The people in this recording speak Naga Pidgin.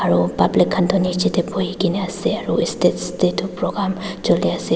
aro public khan tu nichae tae buhikaena ase aro estage taetu program chuliase.